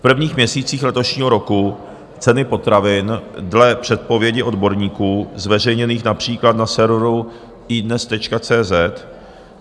V prvních měsících letošního roku ceny potravin dle předpovědi odborníků zveřejněných například na serveru iDNES.cz